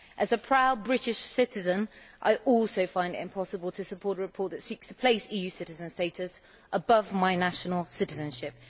As a proud British citizen, I also find it impossible to support a report which seeks to place EU citizen status above my national citizenship.